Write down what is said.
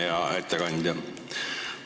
Hea ettekandja!